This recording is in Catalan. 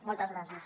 moltes gràcies